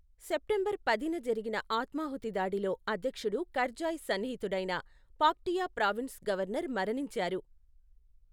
September పదిన జరిగిన ఆత్మాహుతి దాడిలో అధ్యక్షుడు కర్జాయ్ సన్నిహితుడైన, పాక్టియా ప్రావిన్స్ గవర్నర్ మరణించారు.